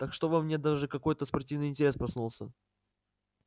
так что во мне даже какой-то спортивный интерес проснулся